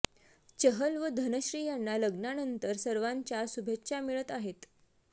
चहल व धनश्री यांना लग्नानंतर सर्वांच्या शुभेच्छा मिळत आहेत